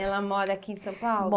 Ela mora aqui em São Paulo?